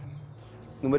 númer